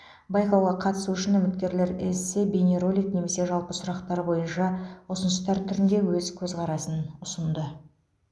байқауға қатысу үшін үміткерлер эссе бейнеролик немесе жалпы сұрақтар бойынша ұсыныстар түрінде өз көзқарасын ұсынды